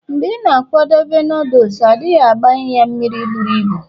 mgbe ị na-akwadebe noodles, ọ dịghị agbai ya mmiri buru ibu